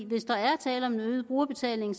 hvis der er tale om en øget brugerbetaling